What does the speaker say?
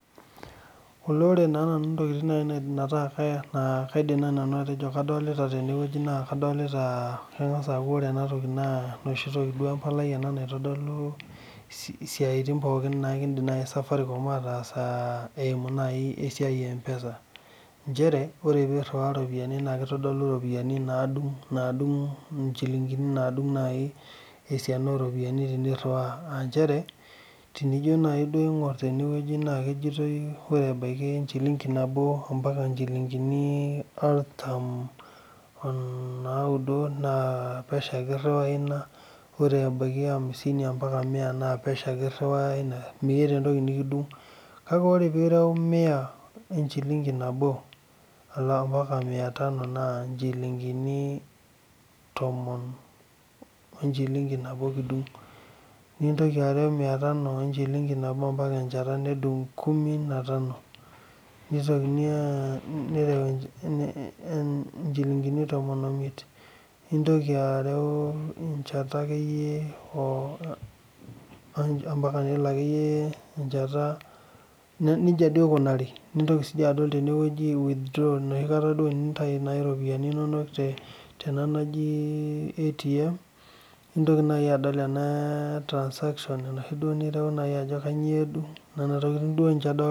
Ore nai ntokitin naidim ataa kadolita tenewueji na kadolita ejo kengas aaku embalai naitodolu siaitin pookin naidim Safaricom ataasa eimu nai esiai empesa nchere ore piriwaa ropiyani nakitodolu ropiyani nadung nchilingini oropiyiani teniriwaa aa nchere nijo nai aingir tenewueji pre ebaki nchilingini nabo o ntomoni nauno n epesho ake iriwaa ore amsini mbaka mia meeta entoki nikidung nintoki arewa nchilingini miatano ambaka enchata nedung nchilingini tomon omiet nintoki arew enchata akeyie nintoki adoli emoshi kata enintau iropiyiani inonok te atm neaku nona tokitin adolita